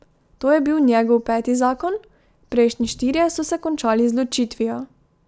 To je bil njegov peti zakon, prejšnji štirje so se končali z ločitvijo.